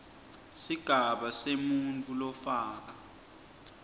sigaba semuntfu lofaka